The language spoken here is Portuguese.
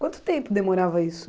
Quanto tempo demorava isso?